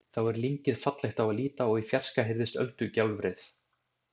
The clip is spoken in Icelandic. Þá er lyngið fallegt á að líta og í fjarska heyrist öldugjálfrið.